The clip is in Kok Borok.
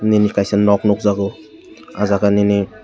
bini kakisa nok nukgajo aw jaaga nini.